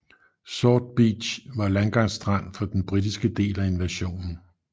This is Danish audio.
Sword Beach var landgangsstrand for den britiske del af invasionen